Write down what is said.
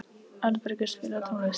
Arnbergur, spilaðu tónlist.